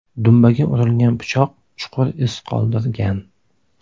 Dumbaga urilgan pichoq chuqur iz qoldirgan.